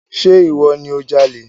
Ṣe ìwọ ni o jalè?